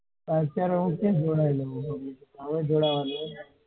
અત્યારે હું ક્યાં જોડાયો છુ હવે જોડાવું છુ.